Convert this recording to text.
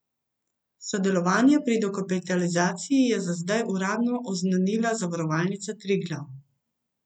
Sodelovanje pri dokapitalizaciji je za zdaj uradno oznanila Zavarovalnica Triglav.